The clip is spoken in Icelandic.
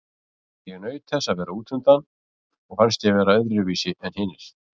Ég naut þess að vera útundan og fannst ég vera öðruvísi en hinir.